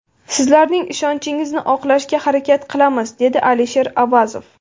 Sizlarning ishonchingizni oqlashga harakat qilamiz”, dedi Alisher Avazov.